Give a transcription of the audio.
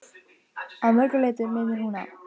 Að mörgu leyti minnir hún á